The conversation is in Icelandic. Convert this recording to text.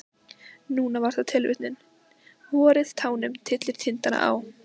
Núna var það tilvitnunin: Vorið tánum tyllir tindana á.